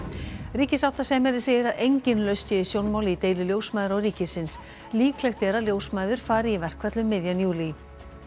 ríkissáttasemjari segir að engin lausn sé í sjónmáli í deilu ljósmæðra og ríkisins líklegt er að ljósmæður fari í verkfall um miðjan júlí